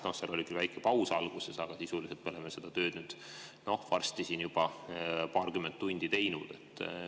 No seal oli küll väike paus alguses, aga sisuliselt oleme seda tööd varsti siin juba paarkümmend tundi teinud.